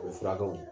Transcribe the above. O furakɛw